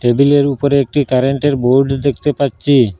টেবিলের উপরে একটি কারেন্টের বোর্ড দেখতে পাচ্ছি।